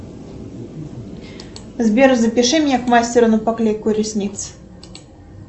сбер запиши меня к мастеру на поклейку ресниц